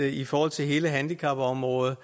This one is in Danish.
i forhold til hele handicapområdet